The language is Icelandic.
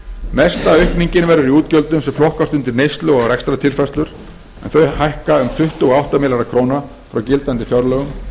mesta aukningin verður í útgjöldum sem flokkast undir neyslu og rekstrartilfærslur en þau hækka um tuttugu og átta milljarða króna frá gildandi fjárlögum